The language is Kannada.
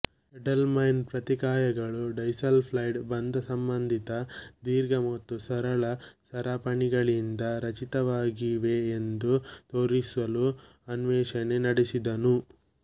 ಎಡೆಲ್ಮ್ಯಾನ್ ಪ್ರತಿಕಾಯಗಳು ಡೈಸಲ್ಫೈಡ್ ಬಂಧಸಂಬಂಧಿತ ದೀರ್ಘ ಮತ್ತು ಸರಳ ಸರಪಣಿಗಳಿಂದ ರಚಿತವಾಗಿವೆಯೆಂದು ತೋರಿಸಲು ಅನ್ವೇಷಣೆ ನಡೆಸಿದನು